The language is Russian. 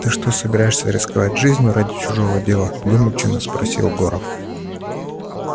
ты что собираешься рисковать жизнью ради чужого дела вымученно спросил горов